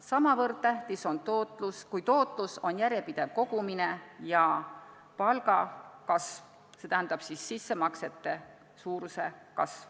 Sama tähtis kui tootlus on järjepidev kogumine ja palgakasv, st sissemaksete suuruse kasv.